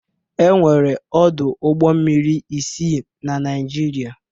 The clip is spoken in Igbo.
E were ọdụ ụgbọ mmiri isii na Naịjịrịa.